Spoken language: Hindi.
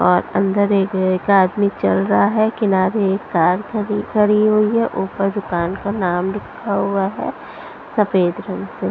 और अंदर एक एक आदमी चल रहा है किनारे एक कार खड़ी खड़ी हुई है ऊपर दुकान का नाम लिखा हुआ है सफेद रंग से --